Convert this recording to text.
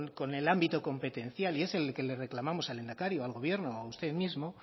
con el ámbito competencial y es el que le reclamamos al lehendakari o al gobierno o a usted mismo